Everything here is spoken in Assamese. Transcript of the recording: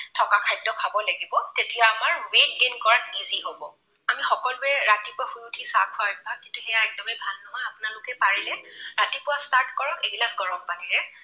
থকা খাদ্য খাব লাগিব তেতিয়া আমাৰ weight gain কৰাত easy হব। আমি সকলোৱে ৰাতিপুৱা শুই উঠি চাহ খোৱাৰ অভ্যাস সেয়া একদমেই ভাল নহয়। আপোনালোকে পাৰিলে ৰাতিপুৱা start কৰক এগিলাচ গৰম পানীৰে